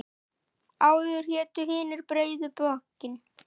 Áður hétu hinir breiðu bökin.